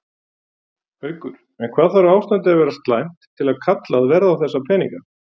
Haukur: En hvað þarf ástandið að vera slæmt til að kallað verði á þessa peninga?